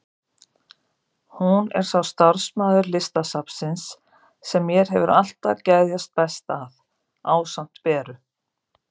Hún er sá starfsmaður Listasafnsins sem mér hefur alltaf geðjast best að, ásamt Beru.